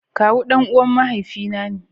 Kawu danuwan mahaifi na ne.